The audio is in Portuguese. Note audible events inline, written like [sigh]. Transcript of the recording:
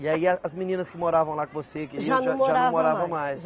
E aí a as meninas que moravam lá com você [unintelligible] já não moravam mais? Já não moravam mais